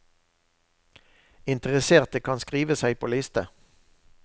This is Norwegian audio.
Interesserte kan skrive seg på liste.